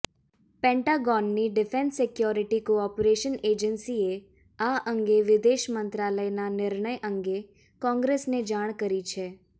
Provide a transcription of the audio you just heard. પેન્ટાગોનની defence security cooperation એજન્સીએ આ અંગે વિદેશ મંત્રાલયના નિર્ણય અંગે કોંગ્રેસને જાણ કરી છે